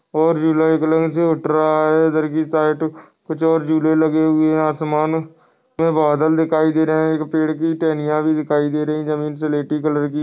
और झूला एक लाइन से उठ रहा है इधर की साइड कुछ और झूले लगे हुए है आसमानों मे बादल दिखाई दे रहे है एक पेड़ की टहनियाँ भी दिखाई दे रही है जमीन स्लेटी कलर की।